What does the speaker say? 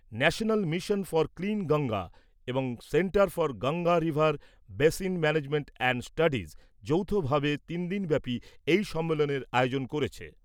যৌথভাবে তিনদিনব্যাপী এই সম্মেলনের আয়োজন করেছে।